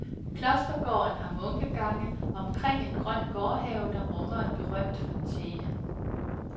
Klostergården har munkegange omkring en grøn gårdhave, der rummer en berømt fontæne.